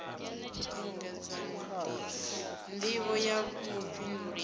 engedzwa nd ivho ya vhufhinduleli